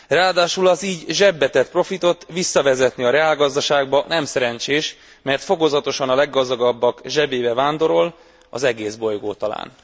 Ráadásul az így zsebre tett profitot visszavezetni a reálgazdaságba nem szerencsés, mert fokozatosan a leggazdagabbak zsebébe vándorol az egész bolygó talán.